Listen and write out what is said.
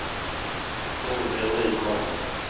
Tore Nyman